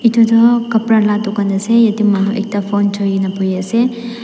edu toh kapra la dukan ase yatae manu ekta phone choina boiase.